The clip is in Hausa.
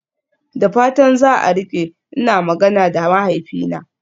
Da fatan za a rike, ina magana da mahaifina.